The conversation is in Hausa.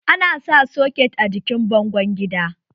Ana sa soket a jikin bango gida